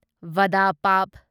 ꯚꯗ pav